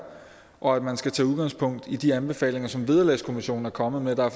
og at man skal tage udgangspunkt i de anbefalinger som vederlagskommissionen er kommet med der